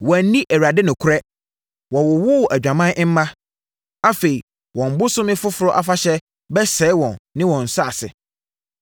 Wɔanni Awurade nokorɛ. Wɔwowoo adwamam mma. Afei wɔn Bosome Foforɔ Afahyɛ bɛsɛe wɔn ne wɔn nsase.